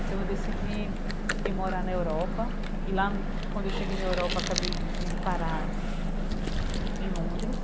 Então eu decidi ir morar na Europa, e lá quando eu cheguei na Europa acabei indo parar em Londres,